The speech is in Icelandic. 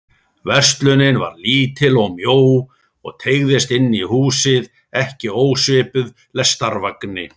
Verslunin var lítil og mjó og teygðist inn í húsið, ekki ósvipuð lestarvagni.